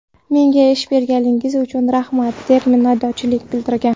Menga ish berganligingiz uchun, rahmat!”, deb minnatdorlik bildirgan.